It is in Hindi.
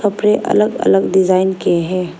कपड़े अलग अलग डिजाइन के है।